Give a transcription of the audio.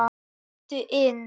Komdu inn